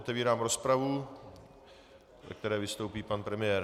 Otevírám rozpravu, ve které vystoupí pan premiér.